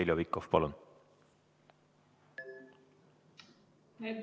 Heljo Pikhof, palun!